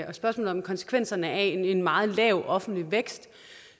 og spørgsmålet om konsekvenserne af en meget lav offentlig vækst